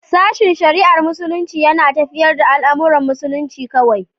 Sashen shari'ar Muslunci yana tafiyar da al'amuran musulunci kawai.